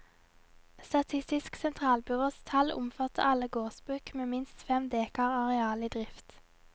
Statistisk sentralbyrås tall omfatter alle gårdsbruk med minst fem dekar areal i drift.